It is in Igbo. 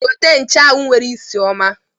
Gote nchuanwu nwere isi ọma!